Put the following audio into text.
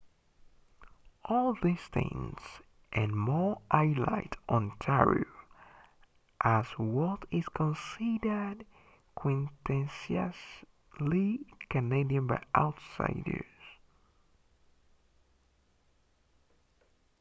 all these things and more highlight ontario as what is considered quintessentially canadian by outsiders